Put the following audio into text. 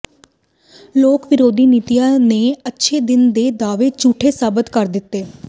ਲੋਕ ਵਿਰੋਧੀ ਨੀਤੀਆਂ ਨੇ ਅੱਛੇ ਦਿੱਨ ਦੇ ਦਾਅਵੇ ਝੂਠੇ ਸਾਬਿਤ ਕਰ ਦਿੱਤੇ